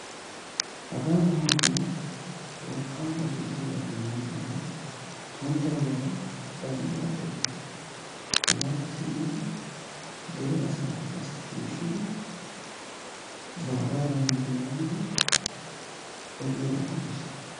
Hagaa na'aayoo wolqaama eray diyoogaappe denddidaaan xuntta ogiyara ba xinaatiyawu biis. hegaappe simmidi dere asaakka qasi shiishidi baagaadan hanite yaagidi odiyoogaa doomiis.